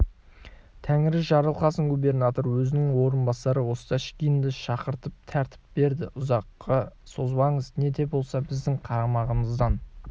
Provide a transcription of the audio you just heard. тәңірі жарылқасын губернатор өзінің орынбасары осташкинді шақыртып тәртіп берді ұзаққа созбаңыз не де болса біздің қарамағымыздан